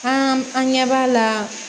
An an ɲɛ b'a la